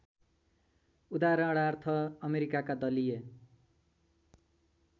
उदाहरणार्थ अमेरिकाका दलीय